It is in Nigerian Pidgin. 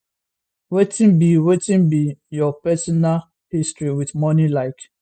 wetin be wetin be your personal history wit money like